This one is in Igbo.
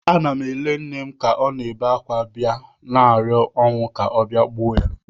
Ana m ele nne ka ọ na-ebe akwa, bịa na-arịọ ọnwụ ka ọ bịa gbuo ya